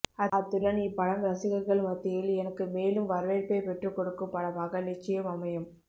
அத்துடன் இப்படம் ரசிகர்கள் மத்தியில் எனக்கு மேலும் வரவேற்பை பெற்றுக்கொடுக்கும் படமாக நிச்சயம் அமையும்